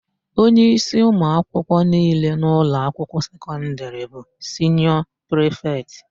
Onyeísí ụmụakwụkwọ niile n'ụlọakwụkwọ sekọndịrị bụ siniọ prịfetị.